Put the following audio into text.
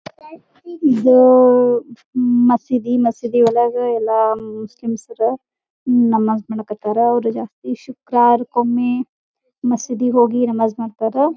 ಇದು ಮಸೀದಿ ಮಸೀದಿ ಒಳಗೆಲ್ಲಾ ನಮಾಸ ಮಾಡಕ್ಕತರ ಅವರಿಗೆ ಈ ಶುಕ್ರವಾರಕೊಮ್ಮಿ ಮಸೀದಿಗೆ ಹೋಗಿ ನಮಾಸ ಮಾಡತರ.